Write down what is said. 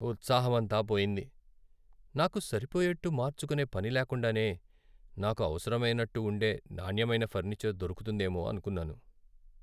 ఉత్సాహమంతా పోయింది, నాకు సరిపోయేట్టు మార్చుకునే పని లేకుండానే, నాకు అవసరమైనట్టు ఉండే నాణ్యమైన ఫర్నిచర్ దొరుకుతుందేమో అనుకున్నాను.